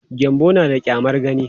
Gyanbo na da ƙyamar gani.